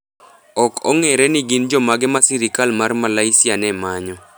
Ok ong'ere ni gin jomage ma sirkal mar Malaysia ne manyo.